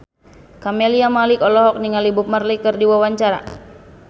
Camelia Malik olohok ningali Bob Marley keur diwawancara